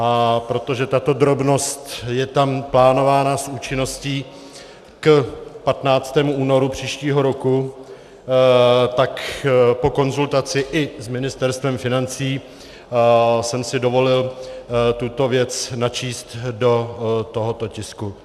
A protože tato drobnost je tam plánována s účinností k 15. únoru příštího roku, tak po konzultaci i s Ministerstvem financí jsem si dovolil tuto věc načíst do tohoto tisku.